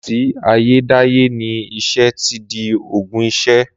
Làtí àyẹ́dàyẹ́ nì iṣẹ́ tídì ògún ìṣẹ̀